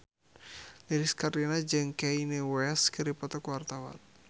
Lilis Karlina jeung Kanye West keur dipoto ku wartawan